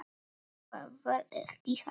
Það var ekki hægt.